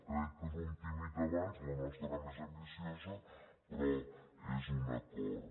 crec que és un tímid avenç la nostra és més ambiciosa però és un acord